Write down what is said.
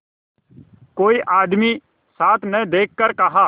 कोई आदमी साथ न देखकर कहा